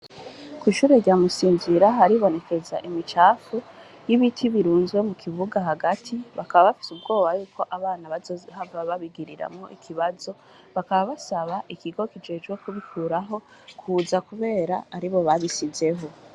Ku ishure ryamusinzira haribonekeza imicafu y'ibiti birunzwe mu kibuga hagati bakabbafye ubwoba yuko abana baohava babigiriramwo ikibazo bakababasaba ikigo kijejwe kubikuraho kuza, kubera ari bo babisizeho.